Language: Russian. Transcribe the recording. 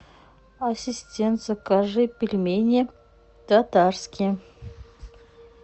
ассистент закажи пельмени татарские